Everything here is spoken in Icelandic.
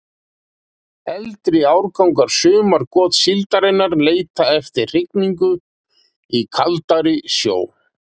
Eldri árgangar sumargotssíldarinnar leita eftir hrygningu í kaldari sjó.